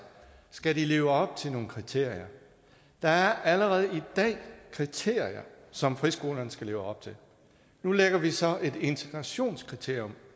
skal de leve op til nogle kriterier der er allerede i dag kriterier som friskolerne skal leve op til nu lægger vi så et integrationskriterium